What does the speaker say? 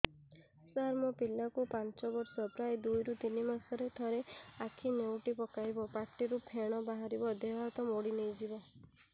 ସାର ମୋ ପିଲା କୁ ପାଞ୍ଚ ବର୍ଷ ପ୍ରାୟ ଦୁଇରୁ ତିନି ମାସ ରେ ଥରେ ଆଖି ନେଉଟି ପକାଇବ ପାଟିରୁ ଫେଣ ବାହାରିବ ଦେହ ହାତ ମୋଡି ନେଇଯିବ